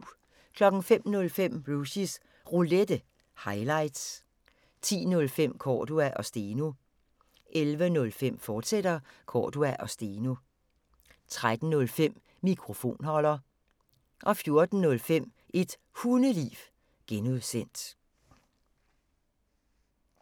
05:05: Rushys Roulette – highlights 10:05: Cordua & Steno 11:05: Cordua & Steno, fortsat 13:05: Mikrofonholder 14:05: Et Hundeliv (G)